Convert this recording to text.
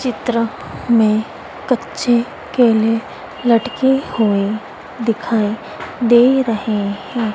चित्र में कच्चे केले लटके हुए दिखाई दे रहे हैं।